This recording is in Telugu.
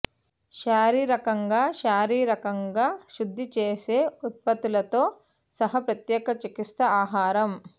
శారీరకంగా శారీరకంగా శుద్ది చేసే ఉత్పత్తులతో సహా ప్రత్యేక చికిత్సా ఆహారం